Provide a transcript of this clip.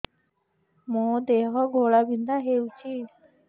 ମୋ ଦେହ ଘୋଳାବିନ୍ଧା ହେଉଛି